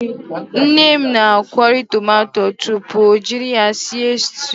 Nne m na-akwori tomato tupu o jiri ya sie styuu.